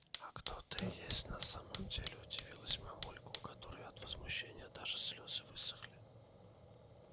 а кто ты есть на самом деле удивилась мамулька у которой от возмущения даже слёзы высохли